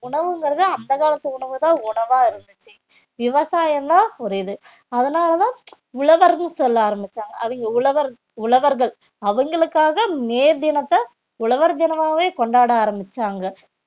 உணவுங்கிறது அந்த காலத்து உணவுதான் உணவா இருந்துச்சு விவசாயம்தான் ஒரு இது அதனாலதான் உழவர்னு சொல்ல ஆரம்பிச்சாங்க அவங்க உழவர்~ உழவர்கள் அவங்களுக்காக மே தினத்தை உழவர் தினமாவே கொண்டாட ஆரம்பிச்சாங்க